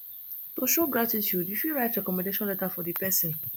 to show gratitude you fit write recommendation letter for di person